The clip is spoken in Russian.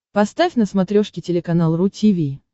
поставь на смотрешке телеканал ру ти ви